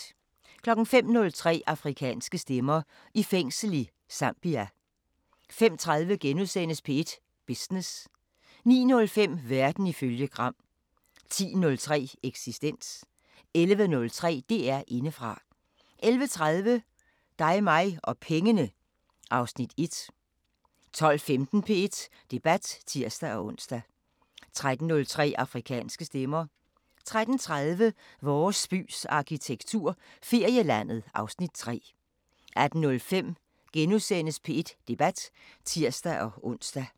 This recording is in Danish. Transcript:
05:03: Afrikanske Stemmer: I fængsel i Zambia 05:30: P1 Business * 09:05: Verden ifølge Gram 10:03: Eksistens 11:03: DR Indefra 11:30: Dig mig og pengene (Afs. 1) 12:15: P1 Debat (tir-ons) 13:03: Afrikanske Stemmer 13:30: Vores bys arkitektur – Ferielandet (Afs. 3) 18:05: P1 Debat *(tir-ons)